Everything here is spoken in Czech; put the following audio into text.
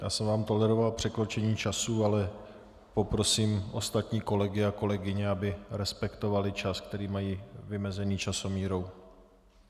Já jsem vám toleroval překročení času, ale poprosím ostatní kolegy a kolegyně, aby respektovali čas, který mají vymezený časomírou.